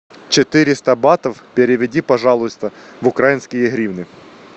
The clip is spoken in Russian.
четыреста батов переведи пожалуйста в украинские гривны